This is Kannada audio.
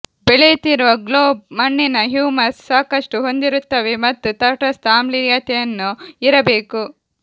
ಬೆಳೆಯುತ್ತಿರುವ ಗ್ಲೋಬ್ ಮಣ್ಣಿನ ಹ್ಯೂಮಸ್ ಸಾಕಷ್ಟು ಹೊಂದಿರುತ್ತವೆ ಮತ್ತು ತಟಸ್ಥ ಆಮ್ಲೀಯತೆಯನ್ನು ಇರಬೇಕು